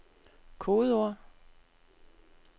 kodeord